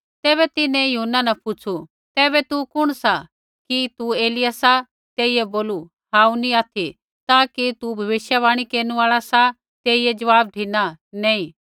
तैबै तिन्हैं यूहन्ना न पुछ़ु तैबै तू कुण सा कि तू एलिय्याह सा तेइयै बोलू हांऊँ नी ऑथि ता कि तू सौ भविष्यवाणी केरनु आल़ा सा तेइयै ज़वाब धिना नैंई